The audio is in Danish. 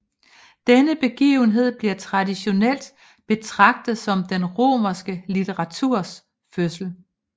Denne begivenhed bliver traditionelt betragtet som den romerske litteraturs fødsel